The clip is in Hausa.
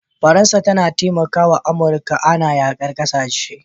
Faransa tAna talafawa amurka Ana yakar ƙasashe